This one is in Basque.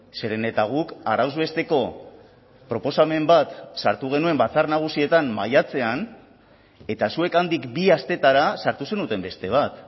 zeren eta guk arauz besteko proposamen bat sartu genuen batzar nagusietan maiatzean eta zuek handik bi astetara sartu zenuten beste bat